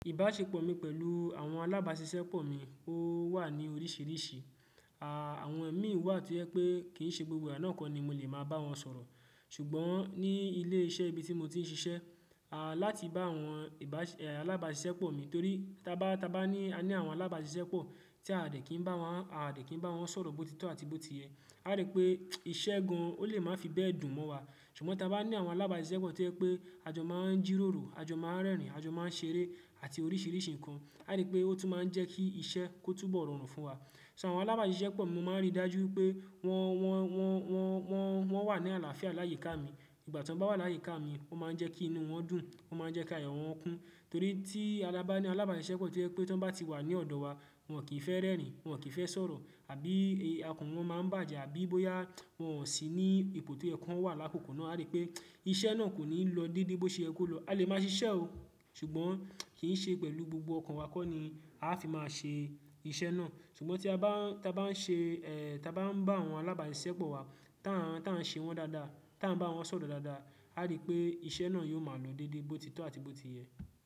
Ìbáṣepọ̀ mi pẹ̀lú àwọn alábáṣiṣẹ́ pọ̀ mi ó wà ní oríṣiríṣi. À, àwọn mi wà tí o ye pé kì í ṣe gbogbo àná kọ́ ni mo lè máa bá wọn sọ̀rọ̀. Ṣùgbọ́n ní ilé iṣẹ́ ibi tí mo ti ń ṣiṣẹ́, à, láti bá àwọn ìbáṣe-- à, alábáṣiṣẹ́ pọ̀ mi torí tá bá, tá bá ní, aní àwọn alábáṣiṣẹ́ pọ̀ tí a de kì í bá wọn, a de kì í bá wọn sọ̀rọ̀ bó ti tọ́ àti bó ti yẹ, a rí pé iṣẹ́ gan-an ó lè máa fi bẹ́ẹ̀ dùn mọ́ wa. Ṣùgbọ́n tá bá ní àwọn alábáṣiṣẹ́ pọ̀ tí yẹ pé àjọ máa ń jíròrò, àjọ máa ń rẹ́rìn, àjọ máa ń ṣeré àti oríṣiríṣi nǹkan, a rí pé ó tún máa ń jẹ́ kí iṣẹ́ kó túbọ̀ rọrùn fún wa. So àwọn alábáṣiṣẹ́ pọ̀ mi máa ń rí dájú wipé wọ́n, wọ́n, wọ́n, wọ́n, wọ́n, wọ́n wà ní àlàáfíà láyiká mi. Ìgbà tí wọ́n bá wà láyiká mi, o máa ń jẹ́ kí inú wọn dùn, o máa ń jẹ́ kí ayọ̀ wọn kún. Torí tí a bá ní alábáṣiṣẹ́ pọ̀ tí yẹ pé tí wọ́n bá ti wà ní ọ̀dọ̀ wa, wọn kì í fẹ́ rẹ́rìn, wọn kì í fẹ́ sọ̀rọ̀ àbí akàn wọ́n máa ń bàjẹ́ àbí bóyá wọn sì ní ipò to ye kan wà lákòókò náà. A rí pé iṣẹ́ náà kò ní lọ dédé bó ṣe yẹ kó lọ. A lè máa ṣiṣẹ́ o, ṣùgbọ́n kì í ṣe pẹ̀lú gbogbo ọkan wa kọ́ ni a fi máa ṣe iṣẹ́ náà. Ṣùgbọ́n tí a bá, tí a bá ń ṣe, tí a bá ń bá àwọn alábáṣiṣẹ́ pọ̀ wa, tá ń, tá ń ṣe wọ́n dáadáa, tá ń bá wọn sọ̀rọ̀ dáadáa, a rí pé iṣẹ́ náà yóò máa lọ dédé bó ti tọ́ àti bó ti yẹ.